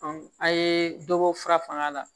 a' ye dɔ bɔ fura fanga la